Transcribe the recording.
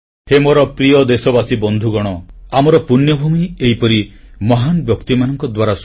ହେ ମୋର ପ୍ରିୟ ଦେଶବାସୀ ବନ୍ଧୁଗଣ ଆମର ପୂଣ୍ୟଭୂମି ଏହିପରି ମହାନ୍ ବ୍ୟକ୍ତିମାନଙ୍କ ଦ୍ୱାରା